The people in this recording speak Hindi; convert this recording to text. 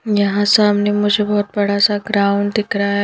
यहां सामने मुझे बहुत बड़ा सा ग्राउंड दिख रहा है।